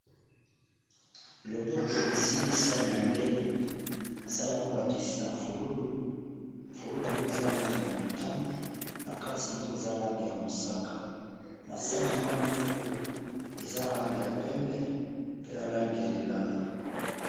Loboko esimbi sani ya mbele sani yango ba dessina fololo, fololo yango eza langi ya motani na kati nango eza langi ya mosaka na sani yango yango moko eza na langi ya pembe pe na langi ya lilala.